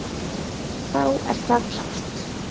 Þá er það klárt.